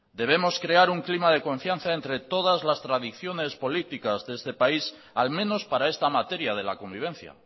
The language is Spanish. debemos crear un clima de confianza entre todas las tradiciones políticas de este país al menos para esta materia de la convivencia